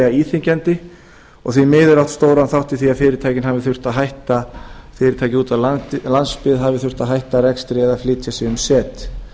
íþyngjandi og því miður átt stóran þátt í því að fyrirtæki úti á landsbyggðinni hafi þurft að hætta rekstri eða flytja sig um set